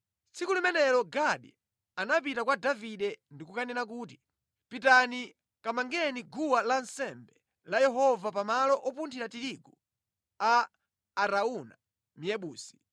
Tsiku limenelo Gadi anapita kwa Davide ndi kukanena kuti, “Pitani kamangeni guwa lansembe la Yehova pamalo opunthira tirigu a Arauna Myebusi.”